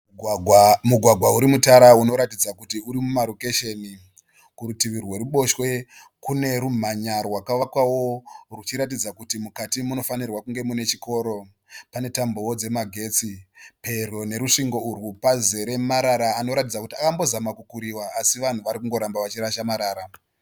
Mugwagwa urimutara unoratidza kuti urimumarokesheni, kurutiviri rweruboshwe kune rumhanya rwaka vakwawo rwuchiratidza kuti mukati munofanirwa kunge muine chikoro. Pane tambowo dzemagetsi. Pedyo nerusvingo pazere marara anoratidza kuti akambozama kukuriwa asi vanhu varikungoramba vachirasa marasa